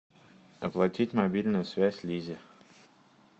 оплатить мобильную связь лизе